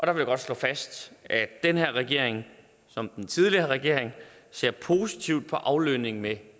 jeg godt slå fast at den her regering som den tidligere regering ser positivt på aflønning med